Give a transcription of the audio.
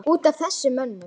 Út af þessum mönnum?